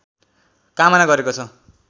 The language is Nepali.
कामना गरेको छ